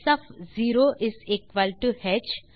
ஸ் ஒஃப் 0 ஹ் 2